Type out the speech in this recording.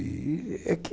É que...